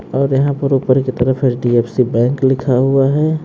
और यहां पर ऊपर की तरफ एच_डी_एफ_सी बैंक लिखा हुआ है।